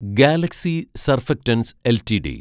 Galaxy Surfactants LTD